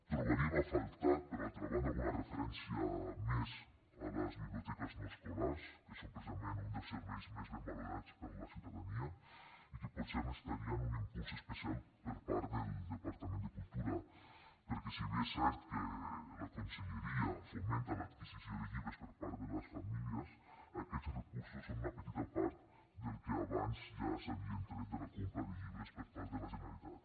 trobaríem a faltar per altra banda alguna referència més a les biblioteques no escolars que són precisament un dels serveis més ben valorats per la ciutadania i que potser necessitarien un impuls especial per part del departament de cultura perquè si bé és cert que la conselleria fomenta l’adquisició de llibres per part de les famílies aquests recursos són una petita part del que abans ja s’havien tret de la compra de llibres per part de la generalitat